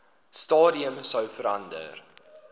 stadium sou verander